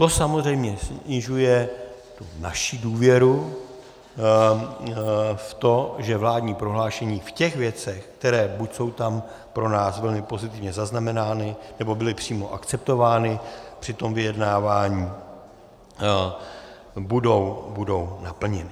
To samozřejmě snižuje naši důvěru v to, že vládní prohlášení v těch věcech, které buď jsou tam pro nás velmi pozitivně zaznamenány, nebo byly přímo akceptovány při tom vyjednávání, budou naplněna.